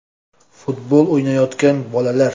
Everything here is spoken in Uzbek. Futbol o‘ynayotgan bolalar.